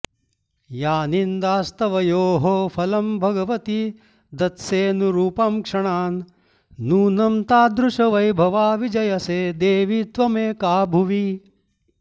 या निन्दास्तवयोः फलं भगवती दत्सेऽनुरूपं क्षणान् नूनं तादृशवैभवा विजयसे देवि त्वमेका भुवि